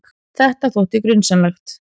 Þetta þótti grunsamlegt.